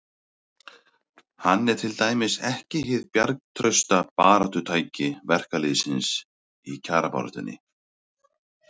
Hann er til dæmis ekki hið bjargtrausta baráttutæki verkalýðsins í kjarabaráttunni.